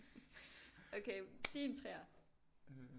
Okay din 3'er